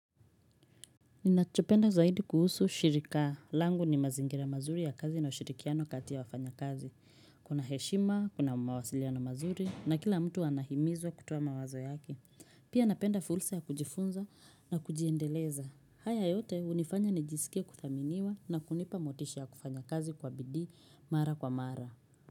Ninachopenda zaidi kuhusu shirika. Langu ni mazingira mazuri ya kazi na ushirikiano kati ya wafanya kazi. Kuna heshima, kuna mawasiliano mazuri na kila mtu anahimizwa kutoa mawazo yake Pia napenda fulsa ya kujifunza na kujiendeleza. Haya yote hunifanya nijiskie kuthaminiwa na kunipa motisha ya kufanya kazi kwa bidii mara kwa mara.